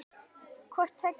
Hvort tveggja sást.